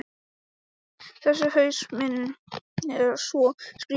Þessi haus minn er svo skrýtinn.